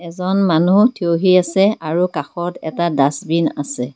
এজন মানু্হ থিয়হি আছে আৰু কাষত এটা ডাষ্টবিন আছে।